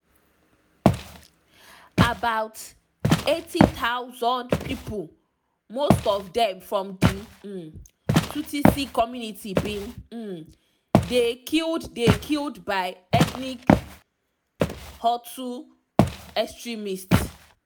about 800000 pipo most of dem from di um tutsi community bin um dey killed dey killed by ethnic hutu extremists.